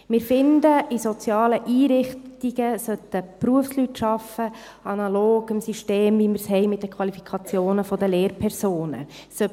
Wir finden, in sozialen Einrichtungen sollten Berufsleute arbeiten, analog dem System, das wir mit der Qualifikation der Lehrpersonen haben.